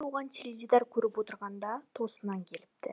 оған теледидар көріп отырғанда тосыннан келіпті